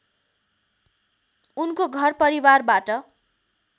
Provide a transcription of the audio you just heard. उनको घर परिवारबाट